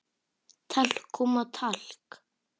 Talkúm og talk